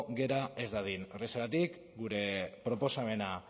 gera ez dadin horrexegatik gure proposamena